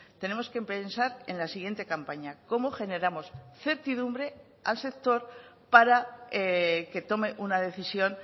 tenemos que pensar en la siguiente campaña cómo generamos certidumbre al sector para que tome una decisión